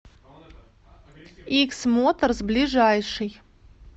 икс моторс ближайший